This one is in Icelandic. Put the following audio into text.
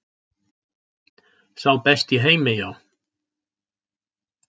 Sá besti í heimi, já.